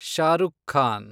Shahrukh Khan